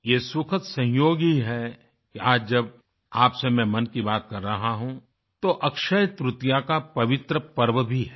ये सुखद संयोग ही है कि आज जब आपसे मैं मन की बात कर रहा हूँ तो अक्षयतृतीया का पवित्र पर्व भी है